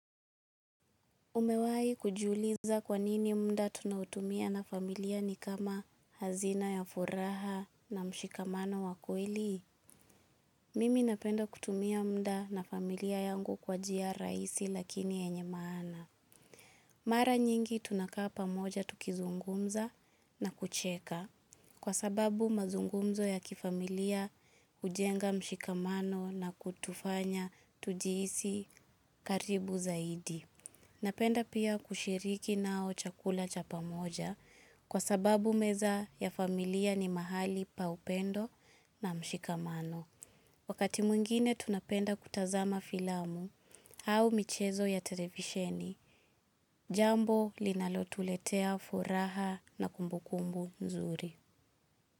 Umewahi kujiuliza kwa nini mufa tunaotumia na familia ni kama hazina ya furaha na mshikamano wa kweli? Mimi napenda kutumia muda na familia yangu kwa njia rahisi lakini yenye maana. Mara nyingi tunakaa pamoja tukizungumza na kucheka. Kwa sababu mazungumzo ya kifamilia hujenga mshikamano na kutufanya tujihisi karibu zaidi. Napenda pia kushiriki nao chakula cha pamoja kwa sababu meza ya familia ni mahali pa upendo na mshikamano. Wakati mwingine tunapenda kutazama filamu au michezo ya televisheni, jambo linalotuletea furaha na kumbukumbu nzuri.